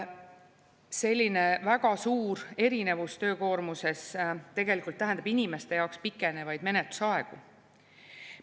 Selline väga suur erinevus töökoormuses tegelikult tähendab inimeste jaoks pikenevaid menetlusaegu.